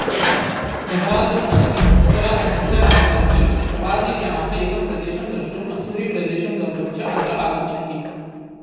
देहरादून् नगरम् उत्तराखण्डस्य राजधानी प्रवासिजनाः एतं प्रदेशं द्रष्टुं मस्सूरीप्रदेशं गन्तुं च अत्र आगच्छन्ति